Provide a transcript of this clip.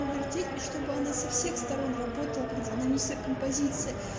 повертеть и чтобы она со всех сторон работала как динамичная композиция